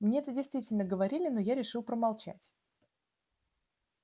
мне это действительно говорили но я решил промолчать